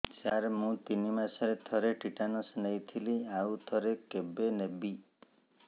ସାର ମୁଁ ତିନି ମାସରେ ଥରେ ଟିଟାନସ ନେଇଥିଲି ଆଉ ଥରେ କେବେ ନେବି